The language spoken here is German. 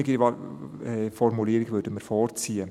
Wir würden die offenere Formulierung vorziehen.